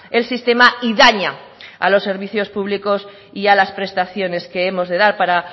el sistema y daña a los servicios públicos y a las prestaciones que hemos de dar para